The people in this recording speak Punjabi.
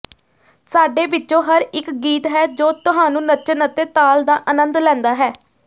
ਸਾਡੇ ਵਿਚੋਂ ਹਰ ਇਕ ਗੀਤ ਹੈ ਜੋ ਤੁਹਾਨੂੰ ਨੱਚਣ ਅਤੇ ਤਾਲ ਦਾ ਅਨੰਦ ਲੈਂਦਾ ਹੈ